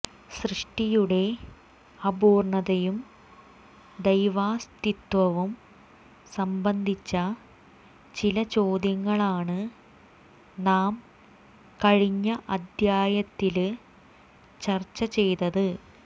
സൃഷ്ടിയുടെ അപൂര്ണ്ണതയും ദൈവാസ്ഥിത്വവും സംബന്ധിച്ച ചില ചോദ്യങ്ങളാണ് നാം കഴിഞ്ഞ അധ്യായത്തില് ചര്ച്ച ചെയ്തത്